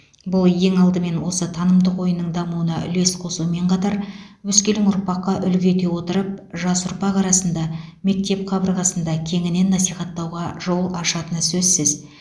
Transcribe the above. бұл ең алдымен осы танымдық ойынның дамуына үлес қосумен қатар өскелең ұрпаққа үлгі ете отырып жас ұрпақ арасында мектеп қабырғасында кеңінен насихаттауға жол ашатыны сөзсіз